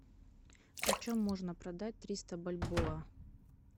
почем можно продать триста бальбоа